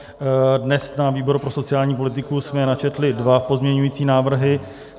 Dnes na výboru pro sociální politiku jsme načetli dva pozměňující návrhy.